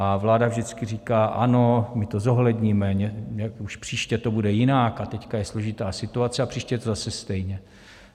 A vláda vždycky říká ano, my to zohledníme, už příště to bude jinak, a teď je složitá situace, a příště je to zase stejně.